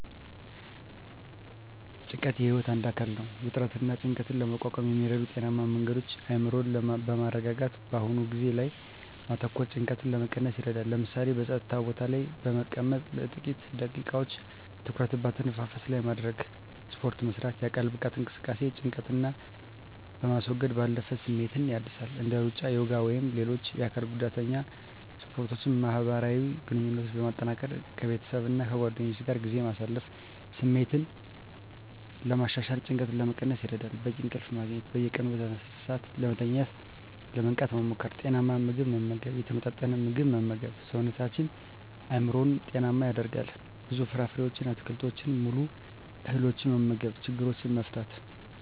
ጭንቀት የህይወት አካል ነው። ውጥረትንና ጭንቀትን ለመቋቋም የሚረዱ ጤናማ መንገዶች አእምሮን በማረጋጋት በአሁኑ ጊዜ ላይ ማተኮር ጭንቀትን ለመቀነስ ይረዳል። ለምሳሌ፣ በጸጥታ ቦታ ላይ በመቀመጥ ለጥቂት ደቂቃዎች ትኩረትን በአተነፋፈስ ላይ ማድረግ። ስፖርት መስራት: የአካል ብቃት እንቅስቃሴ ጭንቀትን ከማስወገድ ባለፈ ስሜትን ያድሳል። እንደ ሩጫ፣ ዮጋ ወይም ሌሎች የአካል ጉዳተኛ ስፖርቶችን ማህበራዊ ግንኙነትን ማጠናከር ከቤተሰብና ከጓደኞች ጋር ጊዜ ማሳለፍ ስሜትን ለማሻሻልና ጭንቀትን ለመቀነስ ይረዳል። በቂ እንቅልፍ ማግኘት። በየቀኑ በተመሳሳይ ሰዓት ለመተኛትና ለመንቃት መሞከር። ጤናማ ምግብ መመገብ የተመጣጠነ ምግብ መመገብ ሰውነትንና አእምሮን ጤናማ ያደርጋል። ብዙ ፍራፍሬዎችን፣ አትክልቶችንና ሙሉ እህሎችን መመገብ። ችግሮችን መፍታት።